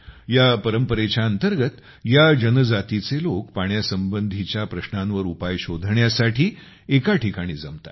ह्या परंपरेच्या अंतर्गत जनजातीचे लोक पाण्यासंबंधीच्या प्रश्नांवर उपाय शोधण्यासाठी एका ठिकाणी जमतात